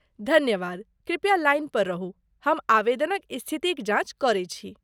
धन्यवाद, कृपया लाइन पर रहू, हम आवेदनक स्थितिक जाँच करै छी।